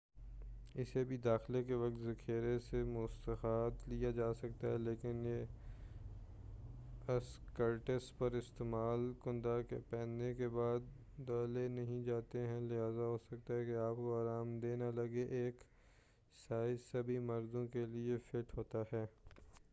اسے بھی داخلہ کے وقت ذخیرہ سے مستعار لیا جاسکتا ہے لیکن یہ اسکرٹس ہر استعمال کنندہ کے پہننے کے بعد دھلے نہیں جاتے ہیں لہذا ہوسکتا ہے آپ کو آرام دہ نہ لگے ایک سائز سبھی مردوں کیلئے فٹ ہوتا ہے